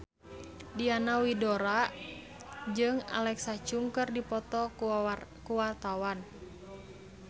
Diana Widoera jeung Alexa Chung keur dipoto ku wartawan